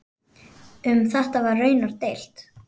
Um þetta var raunar deilt.